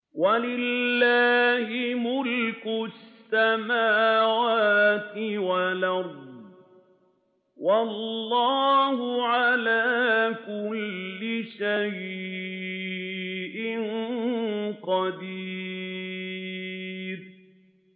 وَلِلَّهِ مُلْكُ السَّمَاوَاتِ وَالْأَرْضِ ۗ وَاللَّهُ عَلَىٰ كُلِّ شَيْءٍ قَدِيرٌ